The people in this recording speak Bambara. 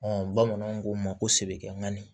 bamananw ko n ma ko sɛbɛkɛ nkani